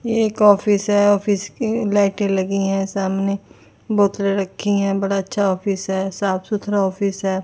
ये एक ऑफिस है ऑफिस की लाइटे लगी है सामने बोतल रखी है बड़ा अच्छा ऑफिस है साफ सुथरा ऑफिस है।